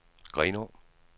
Grenå